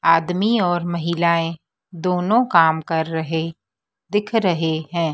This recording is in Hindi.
आदमी और महिलाएं दोनों काम कर रहे दिख रहे हैं।